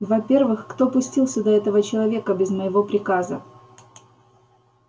во-первых кто пустил сюда этого человека без моего приказа